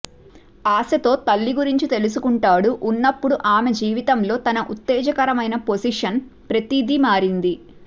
ఆశతో తల్లి గురించి తెలుసుకుంటాడు ఉన్నప్పుడు ఆమె జీవితంలో తన ఉత్తేజకరమైన పోసిషన్ ప్రతిదీ మారింది